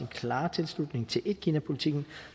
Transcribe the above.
klare tilslutning til etkinapolitikken